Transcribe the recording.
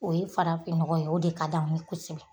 O ye farafin nɔgɔ ye o de ka d'an ye kosɛbɛ